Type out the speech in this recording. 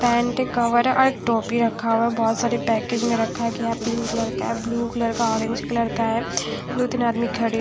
pant cover और टोपी रखा हुआ है बहुत सारे पैकेज में रखा गया पिंक कलर का है ब्ल्यू कलर का ऑरेंज कलर का है दो तीन आदमी खड़े है --